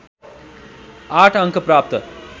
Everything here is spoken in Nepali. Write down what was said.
८ अङ्क प्राप्त